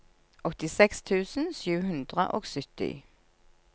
åttiseks tusen sju hundre og sytti